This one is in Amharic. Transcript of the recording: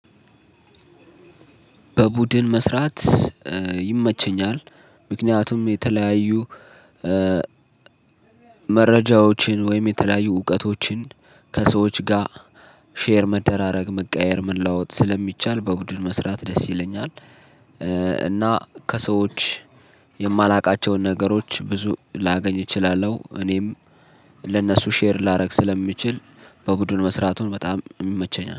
በቡድን መስራት ይመቸኛል ምክንያቱም የተለያዩ መረጃዎችን ወይም የተለያዩ እውቀቶችን ከሰዎች ጋር ሼር መደራረግ መቀያየር መለዋወጥ ስለሚቻል በቡድን መስራት ደስ ይለኛል እና ከሰዎች የማላውቃቸውን ነገሮች ብዙ ላገኝ እችላለሁ እኔም ለእነሱ ሼር ላደርግ ስለምችል በቡድን መስራቱን በጣም ይመቸኛል።